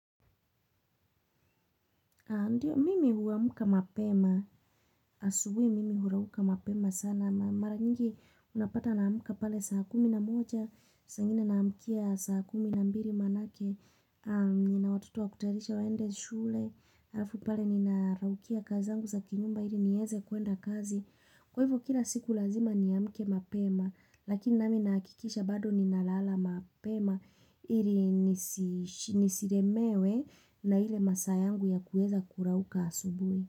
Ndiyo mimi huamka mapema, asubuhi mimi hurauka mapema sana, mara nyingi unapata naamka pale saa kumi na moja, saa ingine naamkia saa kumi na mbili maana ake, nina watoto wa kutarisha waende shule, alafu pale nina raukia kazi angu za kinyumba ili nieze kuenda kazi. Kwa hivyo kila siku lazima niamke mapema, lakini nami nahakikisha bado ninalala mapema ili nisilemewe na ile masaa yangu ya kueza kurauka asubuhi.